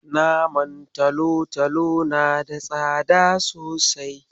Naman talatalo na da tsada sosai.